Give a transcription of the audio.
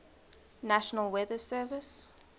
national weather service